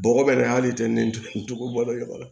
Bɔgɔ bɛ nin hali tɛntɛn cogo bɔlen na